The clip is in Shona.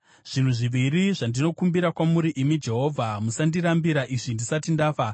“Zvinhu zviviri zvandinokumbira kwamuri, imi Jehovha, musandirambira izvi ndisati ndafa: